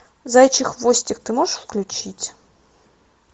заячий хвостик ты можешь включить